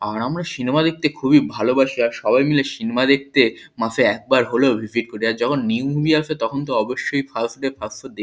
আর আমরা সিনেমা দেখতে খুবই ভালোবাসি আর সবাই মিলে সিনেমা দেখতে মাসে একবার হলেও ভিসিট করি আর যখন নিউ মুভি আসে তখন অবশ্যই ফার্স্ট ডে ফার্স্ট শো দেখ--